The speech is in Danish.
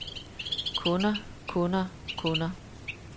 kunder kunder kunder